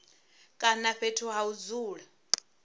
kana fhethu ha u dzula